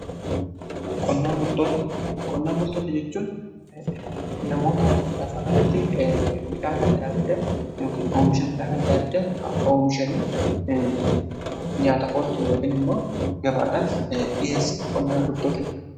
Qonnaan bultoota jechuun namoota lafarratti midhaan adda addaa yookiin oomisha midhaan adda adda oomishanii nyaataf oolchun yookiin immoo gabaadhaaf dhiheessan qonnaan bultoota jedhamu.